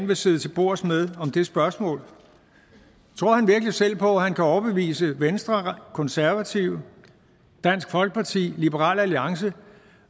vil sidde til bords med om det spørgsmål tror han virkelig selv på at han kan overbevise venstre konservative dansk folkeparti liberal alliance